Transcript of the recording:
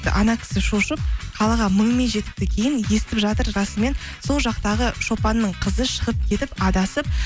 кісі шошып қалаға мыңмен жетіпті кейін естіп жатыр расымен сол жақтағы шопанның қызы шығып кетіп адасып